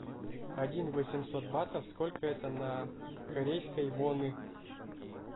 один восемьсот батов сколько это на корейской воны